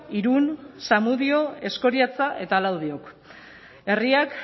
irun zamudio eskoriatza eta laudiok herriak